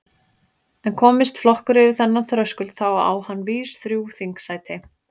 En komist flokkur yfir þennan þröskuld þá á hann vís þrjú þingsæti.